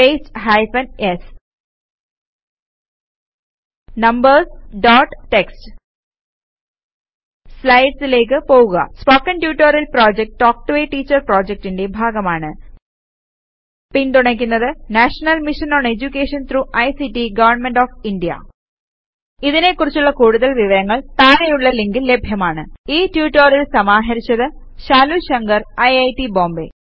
paste hyphen s numbers dot TXT സ്ലൈഡിലേക്ക് പോകുക spoken tutorial project talk to a teacher pപ്രോജക്റ്റിന്റെ ഭാഗമാണ് പിന്തുണക്കുന്നത് national mission on education through ICTഗവണ്മെന്റ് ഓഫ് ഇന്ത്യ ഇതിനെ കുറിച്ചുള്ള കൂടുതൽ വിവരങ്ങൾ താഴെയുള്ള ലിങ്കിൽ ലഭ്യമാണ് ഈ റ്റുറ്റൊരിയൽ സമാഹരിച്ചത് ശാലു ശങ്കർ ഐറ്റ് ബോംബേ